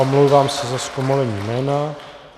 Omlouvám se za zkomolení jména.